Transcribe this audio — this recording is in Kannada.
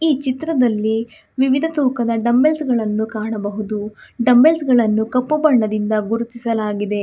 ಈ ಚಿತ್ರದಲ್ಲಿ ವಿವಿಧ ತೂಕದ ಡಂಬಲ್ಸ್ ಗಳನ್ನು ಕಾಣಬಹುದು ಡಂಬಲ್ಸ್ ಗಳನ್ನು ಕಪ್ಪು ಬಣ್ಣದಿಂದ ಗುರುತಿಸಲಾಗಿದೆ.